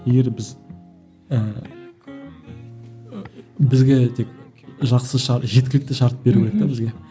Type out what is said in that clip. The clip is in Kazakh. егер біз ііі бізге тек жақсы жеткілікті шарт беру керек те бізге